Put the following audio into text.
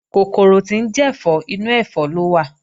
Kòkòrò tí ń jẹ̀fọ́, inú ẹ̀fọ́ ló wà